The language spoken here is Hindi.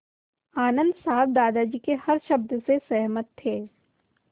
आनन्द साहब दादाजी के हर शब्द से सहमत थे